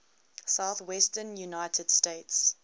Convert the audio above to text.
southwestern united states